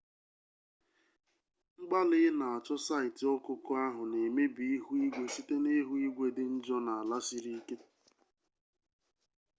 mgbalị ị na-achọ saịtị okuku ahụ na-emebi ihu igwe site na ihu igwe dị njọ na ala siri ike